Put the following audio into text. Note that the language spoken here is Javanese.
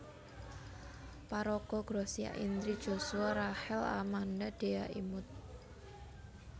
Paraga Gracia Indri Joshua Rachel Amanda Dhea Imut